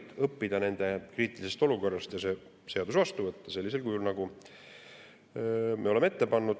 Tuleb õppida nende kriitilisest olukorrast ja see seadus vastu võtta sellisel kujul, nagu me oleme ette pannud.